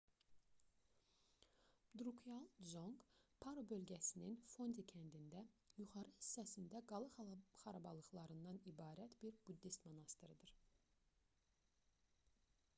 drukqyal dzonq paro bölgəsinin fondi kəndində yuxarı hissəsində qala xarabalığından ibarət bir buddist monastırıdır